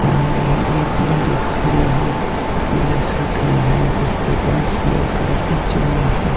सामने ही एक लेडिस खड़ी हुई पीले सूट में है जिसके पास ब्लैक कलर की चुन्नी है।